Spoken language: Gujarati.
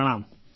પ્રણામ